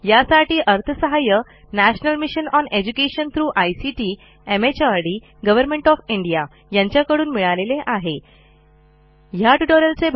यासाठी अर्थसहाय्य national mission on education through ICT MHRD government of India यांच्याकडून मिळालेले आहेयासंबंधी माहिती पुढील साईटवर उपलब्ध आहे